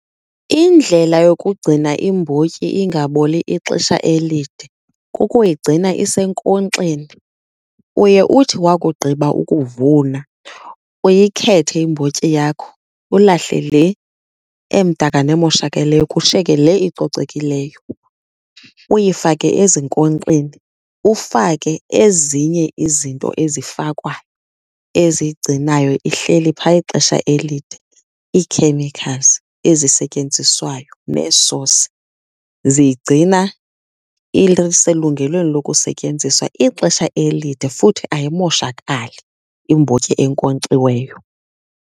Indlela yokugcina imbotyi ingaboli ixesha elide kukuyigcina isenkonkxeni. Uye uthi wakugqiba ukuvuna uyikhethe imbotyi yakho, ulahle le emdaka nemoshakaleyo kushiyeke le icocekileyo uyifake ezinkonkxeni. Ufake ezinye izinto ezifakwa eziyigcinayo ihleli phaya ixesha elide, ii-chemicals ezisetyenziswayo neesosi. Ziyigcina iselungelweni lokusetyenziswa ixesha elide futhi ayimoshakali imbotyi enkonkxiweyo.